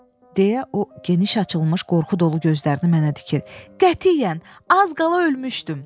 Deyə o, geniş açılmış qorxu dolu gözlərini mənə dikir: qətiyyən az qala ölmüşdüm.